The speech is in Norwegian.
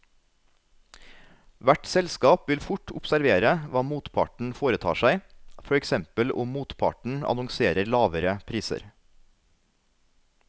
Hvert selskap vil fort observere hva motparten foretar seg, for eksempel om motparten annonserer lavere priser.